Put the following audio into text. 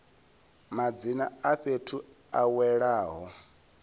madzina a fhethu a welaho